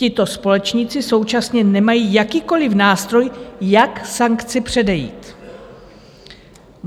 Tito společníci současně nemají jakýkoli nástroj, jak sankci předejít."